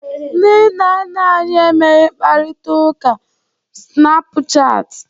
Ndị nna nna anyị emeghị mkparịta ụka snapuchat.